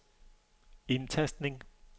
indtastning